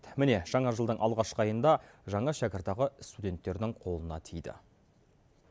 міне жаңа жылдың алғашқы айында жаңа шәкіртақы студенттердің қолына тиді